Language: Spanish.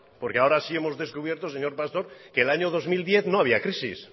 porque ahora sí que hemos descubierto señor pastor que el año dos mil diez no había crisis